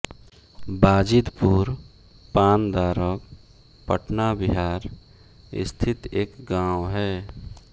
बाजिदपुर पानदारक पटना बिहार स्थित एक गाँव है